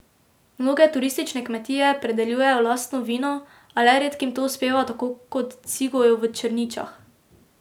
Mnoge turistične kmetije pridelujejo lastno vino, a le redkim to uspeva tako kot Cigoju v Črničah.